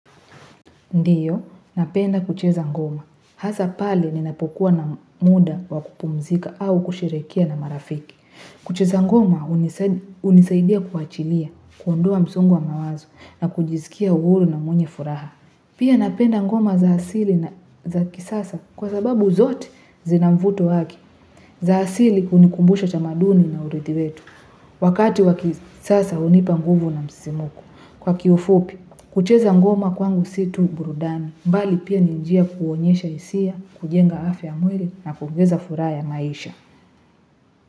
Ndiyo, napenda kucheza ngoma. Hasa pale ninapokuwa na muda wa kupumzika au kusherehekea na marafiki. Kucheza ngoma hunisaidia kuachilia, kuondoa msongo wa mawazo na kujisikia huru na mwenye furaha. Pia napenda ngoma za asili na za kisasa kwa sababu zote zinamvuto wake. Za asili hunikumbusha tamaduni na urithi wetu. Wakati wa kisasa hunipa nguvu na msisimko. Kwa kiufupi, kucheza ngoma kwangu si tu burudani, mbali pia ni njia kuonyesha hisia, kujenga afya ya mwili na kuogeza furaha ya maisha.